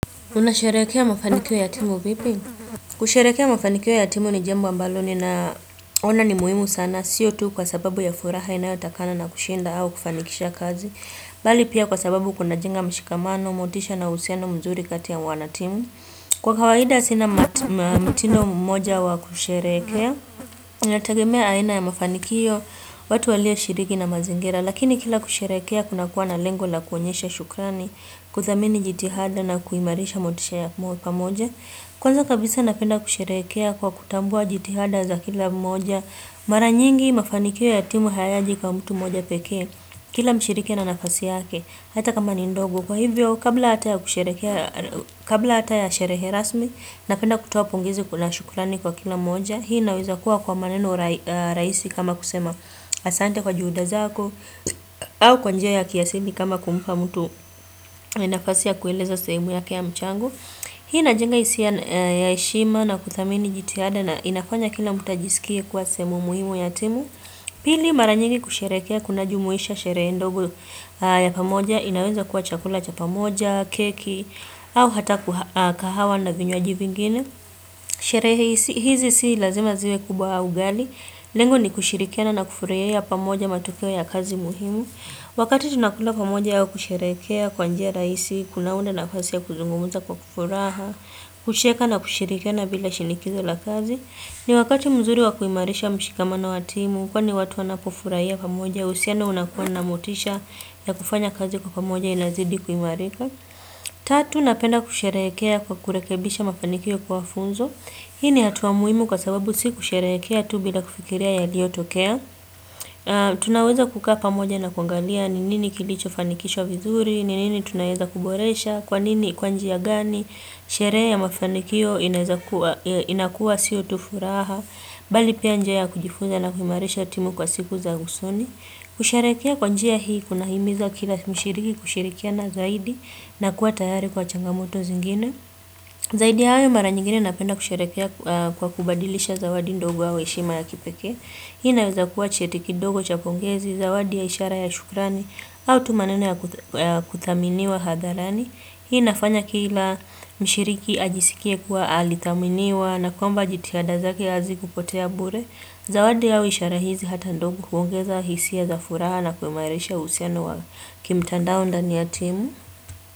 Unasherekea mafanikio ya timu vipi? Kusherekea mafanikio ya timu ni jambo ambalo ninaona ni muhimu sana. Siyo tu kwasababu ya furaha inayotakana na kushinda au kufanikisha kazi. Bali pia kwasababu kuna jenga mshikamano, motisha na uhusiano mzuri kati ya wana timu. Kwa kawaida sina mtindo mmoja wa kusherekea. Unatagemea aina ya mafanikio, watu walio shiriki na mazingira. Lakini kila kusherekea kuna kuwa na lengo la kuonyesha shukrani, kuthamini jitihada na kuimarisha motisha ya kuwa pamoja Kwanza kabisa napenda kusherekea kwa kutambua jitihada za kila mmoja Mara nyingi mafanikio ya timu hayaji kwa mtu mmoja pekee Kila mshiriki ana nafasi yake, hata kama ni ndogo kwa hivyo kabla hata ya kusherekea Kabla hata ya sherehe rasmi, napenda kutoa pongezi na shukurani kwa kila mmoja. Hii naweza kuwa kwa maneno rahisi kama kusema, asante kwa juhuda zako au kwa njia ya kiasili kama kumpa mtu nafasi ya kueleza sehemu yake ya mchango. Hii inajenga hisia ya heshima na kuthamini jitihada na inafanya kila mtu ajisikie kuwa sehemu muhimu ya timu. Pili mara nyingi kusherekea kuna jumuisha sherehe ndogo ya pamoja. Inaweza kuwa chakula cha pamoja, keki au hata kahawa na vinywaji vingine. Sherehe hizi si lazima ziwe kubwa au gani. Lengo ni kushirikiana na kufurahia pamoja matokeo ya kazi muhimu. Wakati tunakula pamoja ya kusherekea kwa njia rahisi, kuna unda nafasi ya kuzungumza kwa furaha, kucheka na kushirikiana bila shinikizo la kazi. Ni wakati mzuri wa kuimarisha mshikamana wa timu, kwa watu wanapo furahia pamoja, usiano unakuwa namotisha ya kufanya kazi kwa pamoja inazidi kuimarika. Tatu, napenda kusherehekea kwa kurekebisha mafanikio kwa funzo. Hii ni hatuwa muhimu kwasababu si kusherekea tu bila kufikiria yaliyotokea. Tunaweza kukaa pamoja na kuangalia ni nini kilicho fanikishwa vizuri, ni nini tunaweza kuboresha, kwanini kwa njia gani, sherehe ya mafanikio inakua sio tu furaha, bali pia njia kujifunza na kuimarisha timu kwa siku za usoni kusherekea kwa njia hii kuna himiza kila mshiriki kushirikiana zaidi na kuwa tayari kwa changamoto zingine Zaidi hayo mara nyingine napenda kusherekea kwa kubadilisha zawadi ndogo ua heshima ya kipekee Hii naweza kuwa cheti kidogo cha pongezi, zawadi ya ishara ya shukrani, h au tu maneno ya kudhaminiwa hadharani. Hii nafanya kila mshiriki ajisikie kuwa alithaminiwa na kwamba jitihada zake hazikupotea bure. Zawadi ua ishara hizi hata ndogo huongeza hisia za furaha na kuimarisha sha uhusiano wa kimtandao ndani ya timu.